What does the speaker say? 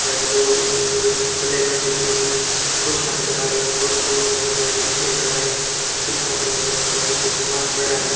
इधर दो black colour की कुर्सिया नजर आ रही है कुर्सियों के आगे शिशे लगाए शिशो के आगे कुछ समान पड़ा है।